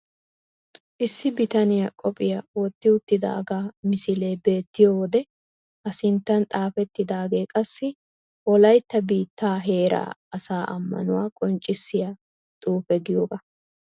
Issi bitaniya qophiya wotti uttidaagaa misilee beettiyo wode A sinttan xaafettidaagee qassi wolaytta biittaa heera asaa ammanuwa qonccissiya xuufe giyogaa.